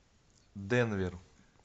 денвер